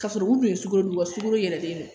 Ka sɔrɔ u kun ye sukaro dun u ka sukoro yɛlɛlen don